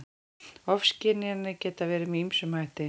Ofskynjanir geta verið með ýmsum hætti.